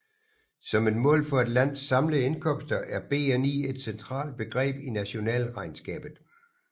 Som et mål for et lands samlede indkomster er BNI et centralt begreb i nationalregnskabet